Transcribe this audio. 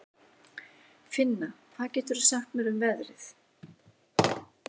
Finna, hvað geturðu sagt mér um veðrið?